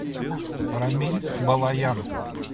рамиль балаян